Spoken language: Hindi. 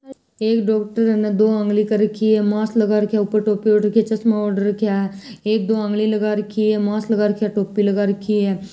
एक डॉक्टर है दो उंगली कर रखी है मास्क लगा रखी है ऊपर टोपी ओड रखी है चश्मा ओड रखी है एक दो आंगली लगा रखी है मास्क लगा रखो है टोपी लगा रखी है।